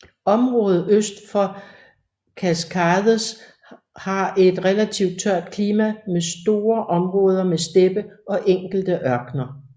Området øst for Cascades har et relativt tørt klima med store områder med steppe og enkelte ørkener